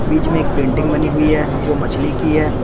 बीच में एक पेंटिंग बनी हुई है जो मछली की है।